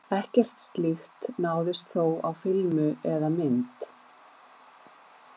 Ekkert slíkt náðist þó á filmu eða mynd.